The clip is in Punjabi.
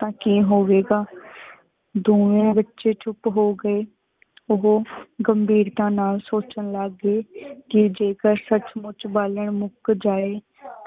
ਤਾ ਕੀ ਹੋਵੇ ਗਾ ਦੋਵੇ ਵਿਚ ਚੁਪ ਹੋ ਗਏ। ਓਹੋ ਗਾਮ੍ਬੇਰਤਾ ਨਾਲ ਸੋਚਾਂ ਲੱਗ ਗਏ ਕੀ ਜੇਕਰ ਸੱਚ ਸੁਚ ਬਾਲਣ ਮੁਕ ਜਾਏ